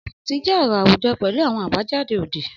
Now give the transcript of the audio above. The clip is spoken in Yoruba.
Ọmuti jẹ ọrọ awujọ pẹlu awọn abajade odi.